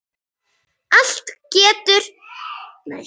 Allt eru þetta miklar furður.